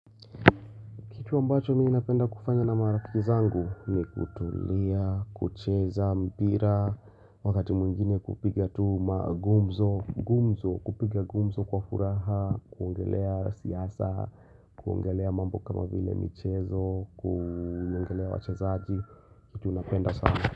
Kitu ambacho mimi napenda kufanya na marafiki zangu ni kutulia, kucheza, mpira, wakati mwingine kupiga tu magumzo, kupiga gumzo kwa furaha, kuongelea siasa, kuongelea mambo kama vile michezo, kuongelea wachezaji, kitu unapenda sana.